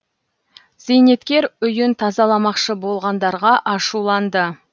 зейнеткер үйін тазаламақшы болғандарға ашуланды